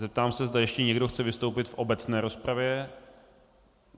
Zeptám se, zda ještě někdo chce vystoupit v obecné rozpravě.